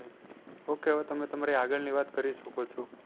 Okay હવે તમે તમારી આગળ ની વાત કરી શકો છો.